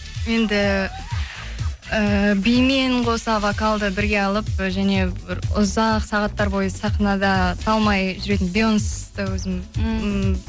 енді ііі бимен қоса вокалды бірге алып және бір ұзақ сағаттар бойы сахнада талмай жүретін бейонсты өзім ммм